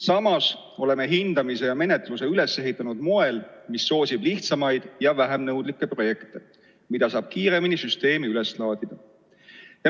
Samas oleme hindamise ja menetluse üles ehitanud moel, mis soosib lihtsamaid ja vähem nõudlikke projekte, mida saab kiiremini süsteemi üles laadida.